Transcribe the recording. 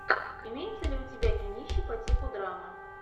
имеется ли у тебя кинище по типу драмы